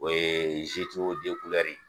O ye ye.